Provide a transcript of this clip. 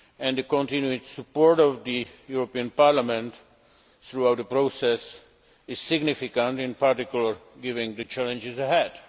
The continuing support of the European Parliament throughout the process is significant, in particular, given the challenges ahead.